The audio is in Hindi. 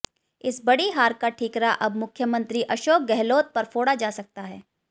इस बड़ी हार का ठीकरा अब मुख्यमंत्री अशोक गहलोत पर फोड़ा जा सकता है